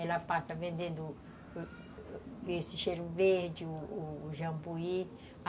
Ela passa vendendo esse cheiro verde, o o jambuí.